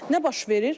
Nə baş verir?